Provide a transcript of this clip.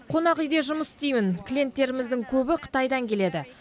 қонақүйде жұмыс істеймін клиенттеріміздің көбі қытайдан келеді